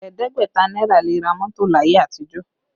Ẹ̀ẹ́dẹ́gbẹ̀ta náírà le ra mọ́tò láyé àtijọ́